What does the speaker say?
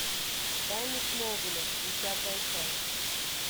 тайны смолвиля десятая часть